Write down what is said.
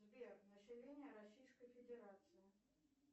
сбер население российской федерации